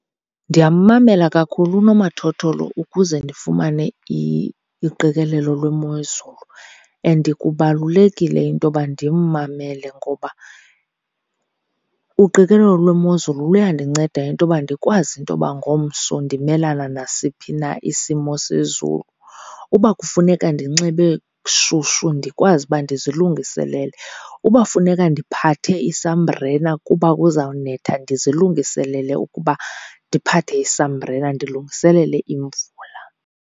Ndiyammamela kakhulu unomathotholo ukuze ndifumane uqikelelo lwemozulu. And kubalulekile into yoba ndimmamele ngoba uqikelelo lwemozulu luyandinceda into yoba ndikwazi into yoba ngomso ndimelana nasiphi na isimo sezulu. Uba kufuneka ndinxibe shushu ndikwazi uba ndizilungiselele, uba funeka ndiphathe isambrela kuba kuzawunetha ndizilungiselele ukuba ndiphathe isambrela ndilungiselele imvula.